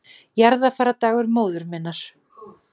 Jarðarfarardagur móður minnar